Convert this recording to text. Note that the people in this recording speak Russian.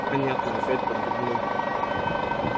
понятно опять подмигнул